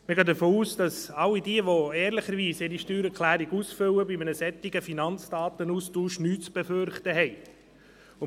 Wir gehen davon aus, dass diejenigen, die ihre Steuererklärung ehrlich ausfüllen, von einem solchen Finanzdatenaustausch nichts zu befürchten haben.